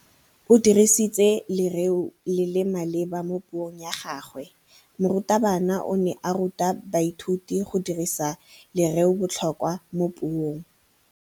O dirisitse lerêo le le maleba mo puông ya gagwe. Morutabana o ne a ruta baithuti go dirisa lêrêôbotlhôkwa mo puong.